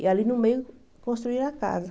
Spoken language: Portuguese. E ali no meio construíram a casa.